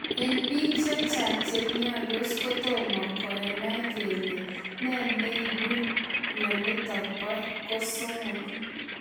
Eng piik chechang chemiandos kotomoo kenai kele ne neibuu mionitok po kosomok.